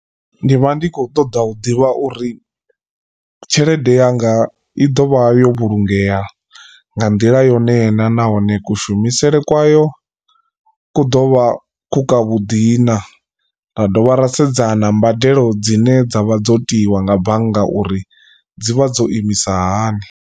Ndi vha ndi khou ṱoḓa u ḓivha uri tshelede yanga i ḓovha yo vhulungea nga nḓila yone na nahone ku shumisele kwayo ku ḓo vha ku kwa vhuḓi naa. Ra dovha ra sedza na mbadelo dzine dza vha dzo tiiwa nga bannga uri dzivha dzo imisa hani.